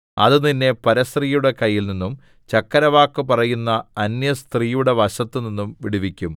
അത് നിന്നെ പരസ്ത്രീയുടെ കയ്യിൽനിന്നും ചക്കരവാക്ക് പറയുന്ന അന്യസ്ത്രീയുടെ വശത്തുനിന്നും വിടുവിക്കും